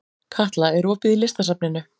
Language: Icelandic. Katla, er opið í Listasafninu?